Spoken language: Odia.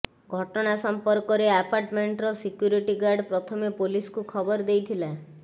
ଘଟଣା ସମ୍ପର୍କରେ ଆପାର୍ଟମେଣ୍ଟର ସିକ୍ୟୁରିଟି ଗାର୍ଡ ପ୍ରଥମେ ପୋଲିସକୁ ଖବର ଦେଇଥିଲେ